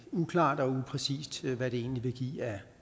uklart og upræcist hvad det egentlig vil give af